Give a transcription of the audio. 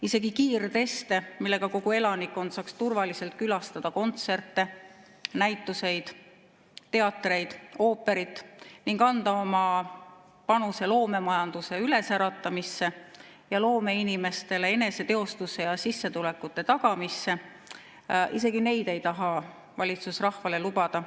Isegi kiirteste, millega kogu elanikkond saaks turvaliselt külastada kontserte, näituseid, teatreid ja ooperit ning anda oma panuse loomemajanduse äratamisse ja loomeinimestele eneseteostuse ja sissetulekute tagamisse, ei taha valitsus rahvale lubada.